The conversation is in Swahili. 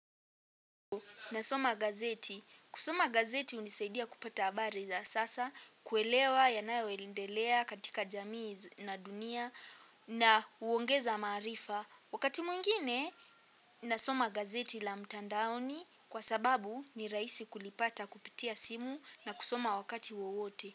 Nasoma gazeti. Kusoma gazeti hunisaidia kupata habari za sasa kuelewa yanayoendelea katika jamii na dunia na kuongeza maarifa. Wakati mwingine nasoma gazeti la mtandaoni kwa sababu ni rahisi kulipata kupitia simu na kusoma wakati wowote.